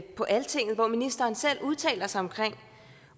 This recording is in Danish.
på altinget hvor ministeren selv udtalte sig om